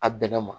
A bɛnna ma